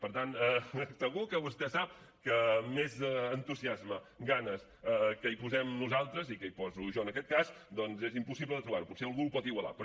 per tant segur que vostè sap que més entusiasme i ganes que hi posem nosaltres i que hi poso jo en aquest cas doncs és impossible de trobar ho potser algú ho pot igualar però